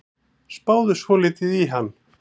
Spáðu svolítið í hann.